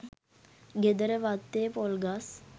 ගෙදර වත්තේ පොල් ගස්